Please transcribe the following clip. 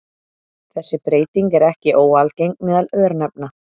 Þessi breyting er ekki óalgeng meðal örnefna.